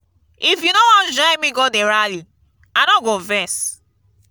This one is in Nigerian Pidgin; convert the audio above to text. if you no wan join me go the rally i no go vex